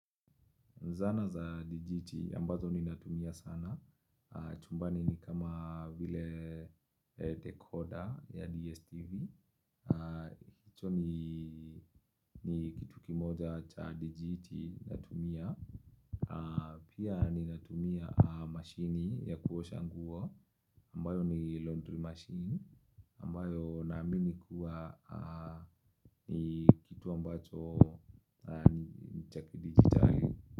Zana za digiti ambazo ninatumia sana. Chumbani ni kama vile decoder ya DSTV. Hicho ni kitu kimoja cha digiti natumia. Pia ninatumia mashine ya kuosha nguo. Ambayo ni laundry machine. Ambayo naamini kuwa ni kitu ambacho ni cha kidigitari.